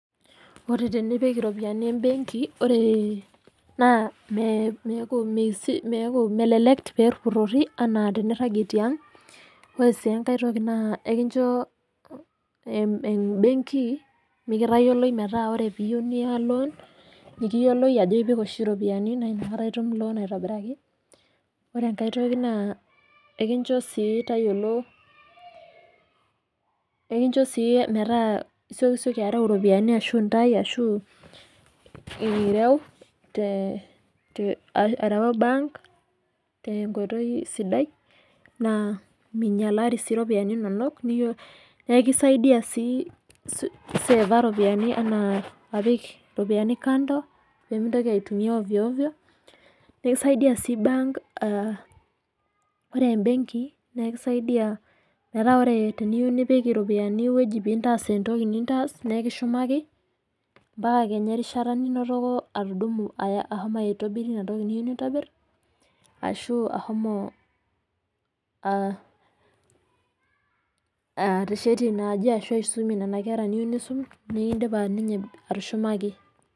Ore tenipik iropiyiani imbenki, ore naa meeaku melelek peepurori anaa teniragie teang'. Ore sii enkae toki na ekincho embenki mikotayioloi metaa ore teniyeu niya eloon, nikiyoloi ajo ipik oshi iropiyiani naa inakata itum ltungani aitobiraki. Ore enkae toki naa ekincho sii tayiolo ,ekincho sii metaa isiokisioki arai iropiyiani ashu intae ashu ireu te, arawaki imbaank te nkoitoi sidai, naa meinyalari sii iropiyiani inonok, naa ekisaidia sii seeva iropiyiani anaa apik iropiyiani kando pemeintoki aitumiya ovyo ovyo nekisaidia sii imbaank, ore embenki naa ekisaidia metaa ore teniyeu nipik iropiyiani eweji pintaas entoki nintaas naa ekishumaki impala kenya erishata ninotoko atudumu ashomo aitobirie inatoki niyeu nintobir ashu ashomo ateshetie inaaji ashu aisumie nena inkera niyeu nisumie ,nikindipa ninye atushumaki.